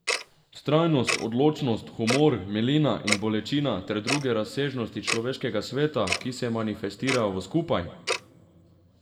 Vztrajnost, odločenost, humor, milina in bolečina ter druge razsežnosti človeškega sveta, ki se manifestirajo v Skupaj?